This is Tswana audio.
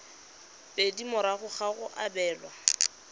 pedi morago ga go abelwa